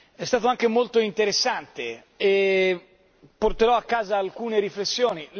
È stato anche molto interessante e porterò a casa alcune riflessioni.